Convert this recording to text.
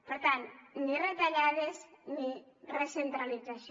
per tant ni retallades ni recentralització